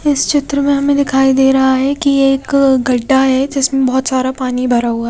इस चित्र मे हमे दिखाई दे रहा है कि ये एक गड्ढा है जिसमें बहोत सारा पानी भरा हुआ--